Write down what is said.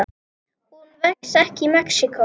Hún vex ekki í Mexíkó.